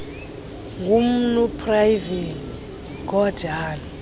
ngumnu pravin gordhan